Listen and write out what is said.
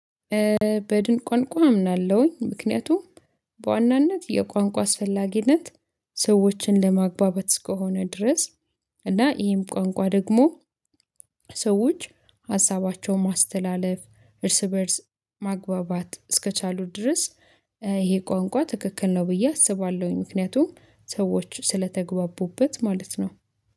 በድን ቋንቋ አምናለሁኝ ምክንያቱም በዋናነት የቋንቋ አስፈላጊነት ሰዎችን ለማግባባት እስከሆነ ድረስ እና ይሄም ቋንቋ ደግሞ ሰዎች ሀሳባቸውን ማስተላለፍ እርስ በእርስ ማግባባት እስከቻሉ ድረስ ይሄ ቋንቋ ትክክል ነው ብዬ አስባለሁኝ። ምክንያቱም ሰዎች ስለተግባቡበት ማለት ነው